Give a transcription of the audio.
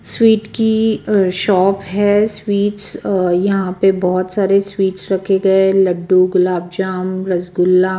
Sweet की अ shop है स्वीट्स अ यहां पे बहोत सारे स्वीट्स रखे गए लड्डू गुलाब जामुन रसगुल्ला।